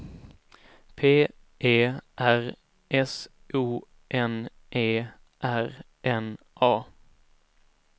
P E R S O N E R N A